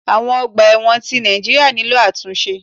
Awon ọgbà ẹ̀wọ̀n ti Nàìjíríà nílò àtúnṣe.